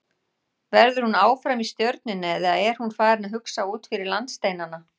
Verður hún áfram í Stjörnunni eða er hún farin að hugsa út fyrir landsteinana?